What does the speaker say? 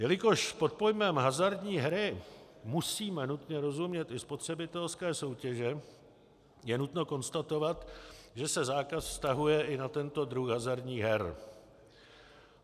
Jelikož pod pojmem hazardní hry musíme nutně rozumět i spotřebitelské soutěže, je nutno konstatovat, že se zákaz vztahuje i na tento druh hazardních her.